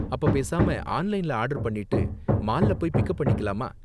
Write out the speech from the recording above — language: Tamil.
அப்ப பேசாம ஆன்லைன்ல ஆர்டர் பண்ணிட்டு மால்ல போய் பிக்கப் பண்ணிக்கலாமா?